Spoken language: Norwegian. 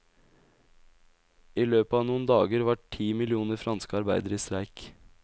I løpet av noen dager var ti millioner franske arbeidere i streik.